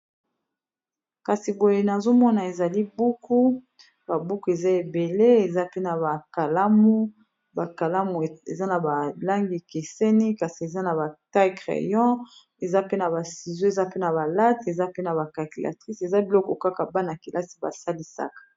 Kasi goye nazomona ezali buku ba buku eza ebele eza pe na ba kalamu ba kalamu eza na ba langi ekeseni kasi eza na ba taille crayon eza pe na ba sizo eza pe na ba late eza pe na ba calculatrice eza biloko kaka bana-kelasi basalisaka.